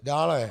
Dále.